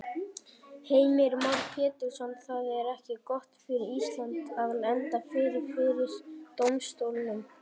Heimir Már Pétursson: Það er ekki gott fyrir Ísland að lenda fyrir, fyrir dómstólnum?